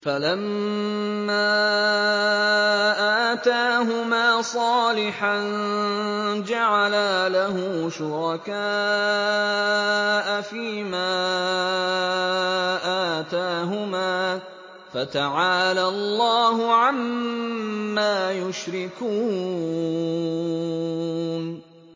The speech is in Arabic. فَلَمَّا آتَاهُمَا صَالِحًا جَعَلَا لَهُ شُرَكَاءَ فِيمَا آتَاهُمَا ۚ فَتَعَالَى اللَّهُ عَمَّا يُشْرِكُونَ